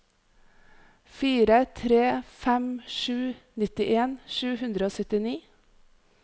fire tre fem sju nittien sju hundre og syttini